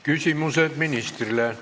Küsimused ministrile.